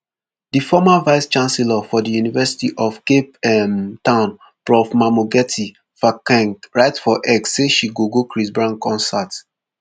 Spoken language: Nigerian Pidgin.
di former vicechancellor for di university of cape um town prof mamokgethi phakeng write for x say she go go chris brown concert